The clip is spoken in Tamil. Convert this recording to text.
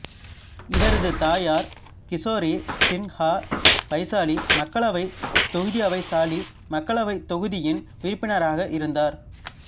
இவரது தாயார் கிஷோரி சின்ஹா வைசாலி மக்களவைத் தொகுதிவைசாலி மக்களவைத் தொகுதியின் உறுப்பினராக இருந்தார்